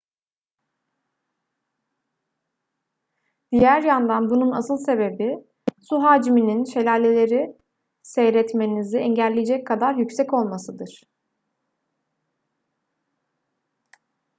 diğer yandan bunun asıl sebebi su hacminin şelaleleri seyretmenizi engelleyecek kadar yüksek olmasıdır